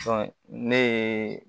ne ye